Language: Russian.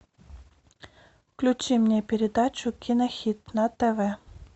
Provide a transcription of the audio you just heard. включи мне передачу кинохит на тв